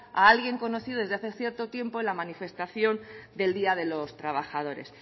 a alguien conocido desde hace cierto tiempo en la manifestación del día de los trabajadores